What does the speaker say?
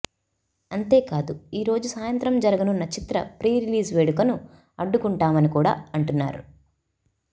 అంతేకాదు ఈరోజు సాయంత్రం జరగనున్న చిత్ర ప్రీ రిలీజ్ వేడుకను అడ్డుకుంటామని కూడా అంటున్నారు